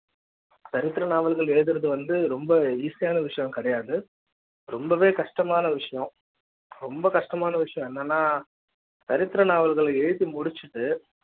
சரித்திர நாவல்கள் எழுதுறது வந்து ரொம்ப Easy யான விஷயம் கிடையாது ரொம்பவே கஷ்டமான விஷயம் ரொம்ப கஷ்டமான விஷயம் என்னன்னா சரித்திர நாவல்கள எழுதி முடிச்சுட்டு